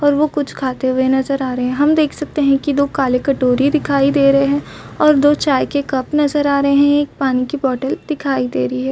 और वो कुछ कहते हुए नज़र आ रहे है हम देख सकते है की वो काले कटोरी दिखाई दे रहे है और वो छाए के दो कप नज़र आ रहे है और एक पानी की बॉटल दिखाई दे रही हैं।